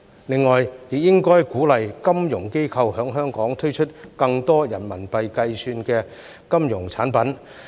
另外，政府亦應該鼓勵金融機構在香港推出更多人民幣計算的金融產品。